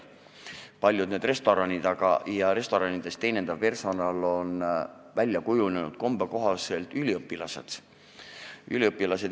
Paljudes restoranides on teenindav personal väljakujunenud kombe kohaselt üliõpilased.